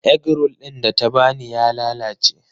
Egg roll ɗin da ta ba ni ya lalace.